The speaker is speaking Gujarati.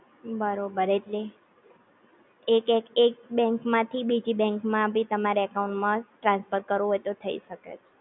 બરોબર ઍટલે એક, એક એક બેન્ક માંથી બીજી બેન્ક માં બી તમારે અકાઉંટ માં ટ્રાન્સફર કરવું હોય તો થઈ શકે